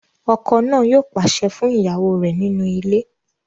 Ọkọ náà yóò pàṣẹ fún ìyàwó rẹ̀ nínú ilé